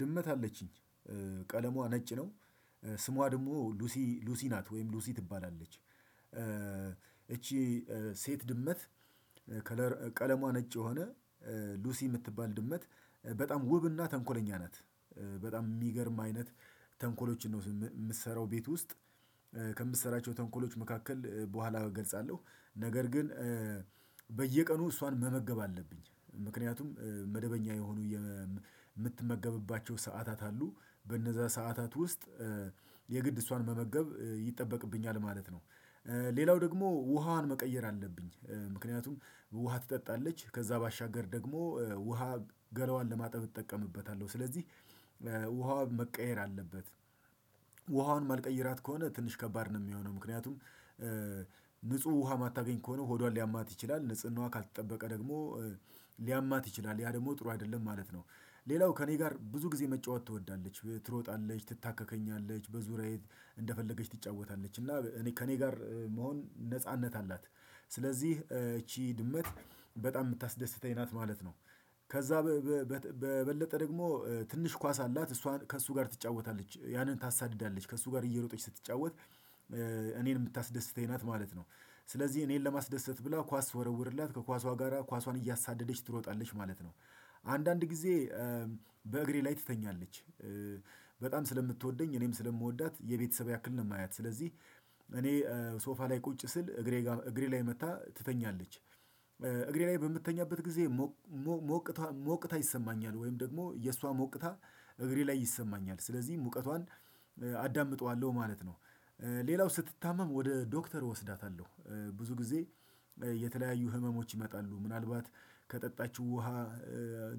ድመት አለችኝ ቀለሟ ነጭ ነው ስሟ ደግሞ ሉሲ ሉሲ ናት ወይም ሉሲ ትባላለች። እቺ ሴት ድመት ካለር ቀለሟ ነጭ የሆነ ሉሲ የምትባል ድመት በጣም ውብና ተንኮለኛ ናት። በጣም የሚገርም አይነት ተንኮሎችን ነው የምትሰራው ቤት ውስጥ ከምትሰራቸው ተንኮሎች መካከል በኋላ እገልጻለሁ። ነገር ግን በየቀኑ እሷን መመገብ አለብኝ ምክንያቱም መደበኛ የሆኑ የምት የምትመገብባቸው ሰዓታት አሉ በነዛ ሰዓታት ውስጥ የግድ እሷን መመገብ ይጠበቅብኛል ማለት ነው። ሌላው ደግሞ ውሃዋን መቀየር አለብኝ ምክንያቱም ውሃ ትጠጣለች ከዛ ባሻገር ደግሞ ውሃ ገላዋን ለማጠብ እጠቀምበታለሁ ስለዚህ ውሃው መቀየር አለበት። ውሃውን መልቀይራት ከሆነ ትንሽ ከባድ ነው የሚሆነው ምክንያቱም ንጹህ ውሃ የማታገኝ ከሆነ ሆዷን ሊያማት ይችላል ንጽህናዋ ካልተጠበቀ ደግሞ ሊያማት ይችላል ያ ደግሞ ጥሩ አይደለም ማለት ነው። ሌላው ከእኔ ጋር ብዙ ጊዜ መጫወት ትወዳለች ትሮጣለች ትታከከኛለች በዙሪያዬ እንደፈለገች ትጫወታለች እና እኔ ከእኔ ጋር መሆን ነጻነት አላት ስለዚህ እቺ ድመት በጣም የምታስደስተኝ ናት ማለት ነው። ከዛ በበለጠ ደግሞ ትንሽ ኳስ አላት እሷን ከእሱ ጋር ትጫወታለች ያንን ታሳድዳለች ከእሷ ጋር እየሮጠች ስትጫወት እኔን የምታስደስተኝ ናት ማለት ነው። ስለዚህ እኔን ለማስደሰት ብላ ኳስ ሰወረውርላት ከኳሷ ጋራ ኳሷን እያሳደደች ትሮጣለች ማለት ነው። አንዳንድ ጊዜ በእግሬ ላይ ትተኛለች። በጣም ስለምትወደኝ እኔም ስለምወዳት የቤተሰብ ያክል ነው የማያት ስለዚህ እኔ ሶፋ ላይ ቁጭ ስል እግሬ ጋር እግሬ ላይ መታ ትተኛለች እግሬ ላይ በምትተኛበት ጊዜ ሞ ሞቅታ ሞቅታ ይሰማኛል ወይም ደግሞ የእሷ ሞቅታ እግሬ ላይ ይሰማኛል ስለዚህ ሙቀቷን አዳምጠዋለሁ ማለት ነው። ሌላው ስትታመም ወደ ዶክተር ወስዳታለሁ ብዙ ጊዜ የተለያዩ ህመሞች ይመጣሉ ምናልባት ከጠጣችው ውሃ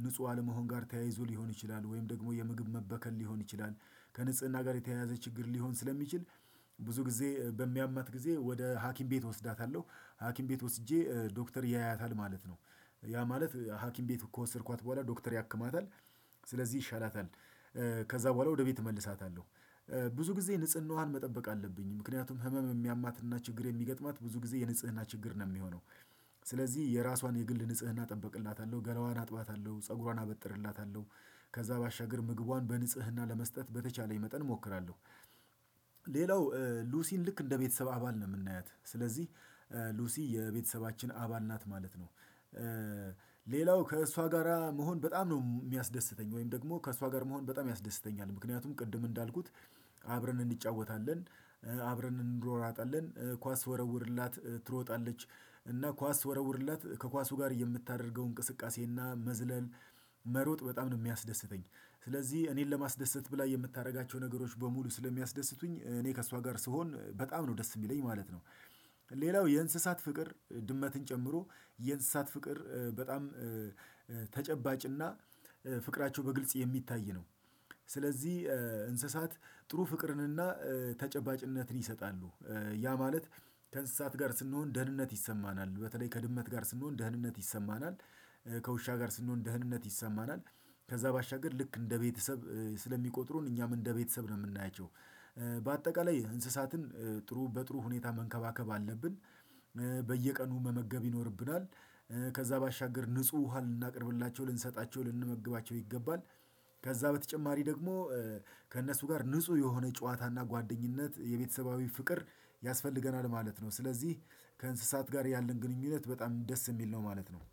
ንጹህ አለመሆን ጋር ተያይዞ ሊሆን ይችላል ወይም ደግሞ የምግብ መበከል ሊሆን ይችላል። ከንጽህና ጋር የተያያዘ ችግር ሊሆን ስለሚችል ብዙ ጊዜ በሚያማት ጊዜ ወደ ሀኪም ቤት ወስዳታለሁ ሀኪም ቤት ወስጄ ዶክተር ያያታል ማለት ነው። ያ ማለት ሀኪም ቤት ከወሰድኳት በኋላ ዶክተር ያክማታል ስለዚህ ይሻላታል። ከዛ በኋላ ወደ ቤት እመልሳታለሁ። ብዙ ጊዜ ንጽህናዋን መጠበቅ አለብኝ ምክንያቱም ህመም የሚያማትና ችግር የሚገጥማት ብዙ ጊዜ የንጽህና ችግር ነው የሚሆነው ስለዚህ የራሷን የግል ንጽህና እጠብቅላታለሁ ገላዋን አጥባታለሁ ፀጉሯን አበጥርላታለሁ ከዛ ባሻገር ምግቧን በንጽህና ለመስጠት በተቻለኝ መጠን እሞክራለሁ። ሌላው ሉሲን ልክ እንደ ቤተሰብ አባል ነው የምናያት ስለዚህ ሉሲ የቤተሰባችን አባል ናት ማለት ነው። ሌላው ከእሷ ጋራ መሆን በጣም ነው የሚያስደስተኝ ወይም ደግሞ ከእሷ ጋር መሆን በጣም ያስደስተኛል ምክንያቱም ቅድም እንዳልኩት አብረን እንጫወታለን አብረን እንድሯሯጣለን ኳስ ስወረውርላት ትሮጣለች እና ኳስ ስወረወርላት ከኳሱ ጋር የምታደርገው እንቅስቃሴና መዝለል መሮጥ በጣም ነው የሚያስደስተኝ። ስለዚህ እኔን ለማስደሰት ብላ የምታደርጋቸው ነገሮች በሙሉ ስለሚያስደስቱኝ እኔ ከእሷ ጋር ስሆን በጣም ነው ደስ የሚለኝ ማለት ነው። ሌላው የእንስሳት ፍቅር ድመትን ጨምሮ የእንስሳት ፍቅር በጣም ተጨባጭና ፍቅራቸው በግልጽ የሚታይ ነው። ስለዚህ እንስሳት ጥሩ ፍቅርንና ተጨባጭነትን ይሰጣሉ ያ ማለት ከእንስሳት ጋር ስንሆን ደህንነት ይሰማናል በተለይ ከድመት ጋር ስንሆን ደህንነት ይሰማናል። ከውሻ ጋር ስንሆን ደህንነት ይሰማናል። ከዛ ባሻገር ልክ እንደ ቤተሰብ ስለሚቆጥሩን እኛም እንደ ቤተሰብ ነው የምናያቸው በአጠቃላይ እንስሳትን ጥሩ በጥሩ ሁኔታ መንከባከብ አለብን። በየቀኑ መመገብ ይኖርብናል ከዛ ባሻገር ንጹህ ውሃ ልናቀርብላቸው ልንሰጣቸው ልንመግባቸው ይገባል። ከዛ በተጨማሪ ደግሞ ከእነሱ ጋር ንጹህ የሆነ ጨዋታና ጓደኝነት የቤተሰባዊ ፍቅር ያስፈልገናል ማለት ነው። ስለዚህ ከእንስሳት ጋር ያለን ግንኙነት በጣም ደስ የሚል ነው ማለት ነው